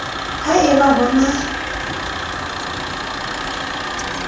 ha e ba ho na